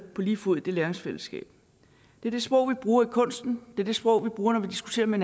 på lige fod i det læringsfællesskab det er det sprog vi bruger i kunsten det er det sprog vi bruger når vi diskuterer med